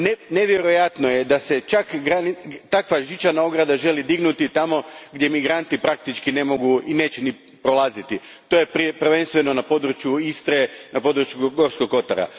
Nevjerojatno je da se takva žičana ograda želi dignuti tamo gdje migranti praktički ne mogu i neće ni prolaziti, a to je prvenstveno na području Istre i na području Gorskog kotara.